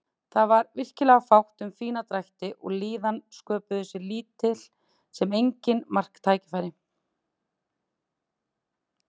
Það var virkilega fátt um fína drætti og liðin sköpuðu sér lítil sem engin marktækifæri.